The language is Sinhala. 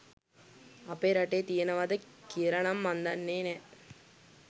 අපේ රටේ තියෙනවද කියලනම් මං දන්නේ නෑ.